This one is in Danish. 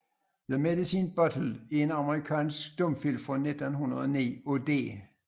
The Medicine Bottle er en amerikansk stumfilm fra 1909 af D